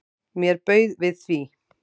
Mér bauð við því.